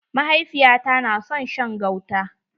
Mahaifiya ta na son shan gauta.